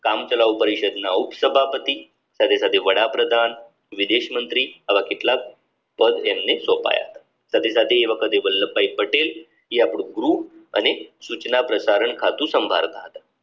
કામચલાઓ પરિષદના ઉપસભાપતિ સાથે સાથે વડાપ્રધાન વિદેશ મંત્રી આવા કેટલાક પદ એમને સોપાયા સાથે સાથે એ વખતે વલ્લભભાઈ પટેલ એ આપણું ગ્રુપ અને સૂચના પ્રસારણ ખાતું સંભાળતા હતા